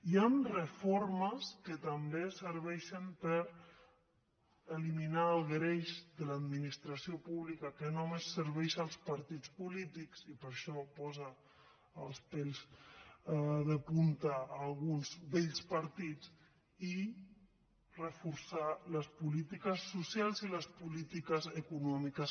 hi han reformes que també serveixen per eliminar el greix de l’administració pública que només serveix als partits polítics i per això posa els pèls de punta a alguns vells partits i reforçar les polítiques socials i les polítiques econòmiques